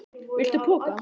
Viltu poka?